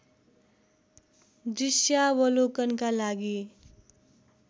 दृश्यावलोकनका लागि